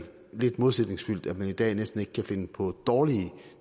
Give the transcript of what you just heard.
lidt modsætningsfyldt at man i dag næsten ikke kan finde på dårlige